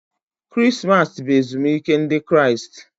Krismas bụ ezumike Ndị Kraịst.